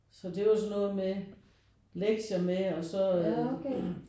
Så det var jo sådan noget med lektier med og så